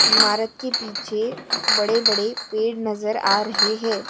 इमारत के पीछे बड़े बड़े पेड़ नजर आ रहे है।